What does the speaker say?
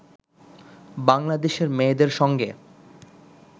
বাংলাদেশের মেয়েদের সঙ্গে